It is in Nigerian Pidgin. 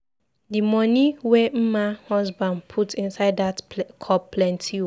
The money wey Mma husband put inside dat cup plenty oo.